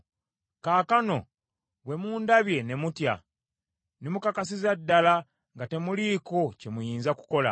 Kaakano bwe mundabye ne mutya ne mukakasizza ddala nga temuliiko kye muyinza kukola.